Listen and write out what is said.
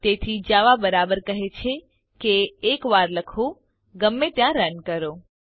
તેથી જાવા બરાબર કહે છે કે એક વાર લખો ગમે ત્યાં રન કરો